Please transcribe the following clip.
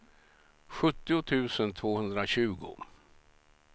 sjuttio tusen tvåhundratjugo